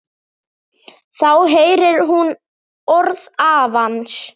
Þá heyrir hún orð afans.